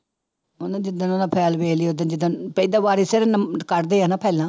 ਉਹਨੇ ਜਿੱਦਣ ਉਹਦਾ file ਵੇਖ ਲਈ ਓਦਣ ਜਿੱਦਣ ਏਦਾਂ ਵਾਰੀ ਸਿਰ ਕੱਢਦੇ ਆ ਨਾ ਫਾਇਲਾਂ।